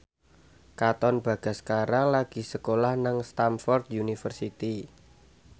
Katon Bagaskara lagi sekolah nang Stamford University